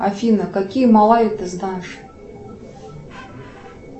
афина какие малайи ты знаешь